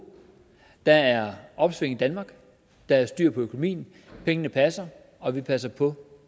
der er opsving i danmark der er styr på økonomien pengene passer og vi passer på